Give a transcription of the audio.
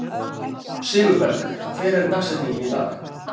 Sigurberg, hver er dagsetningin í dag?